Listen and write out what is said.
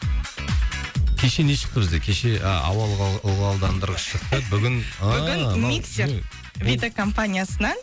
кеше не шықты бізде кеше ауа ылғалдандырғыш шықты бүгін ыыы мынау бүгін миксер вита компаниясынан